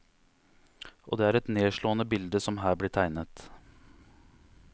Og det er et nedslående bilde som her blir tegnet.